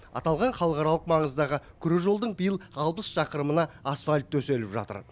аталған халықаралық маңыздағы күре жолдың биыл алпыс шақырымына асфальт төселіп жатыр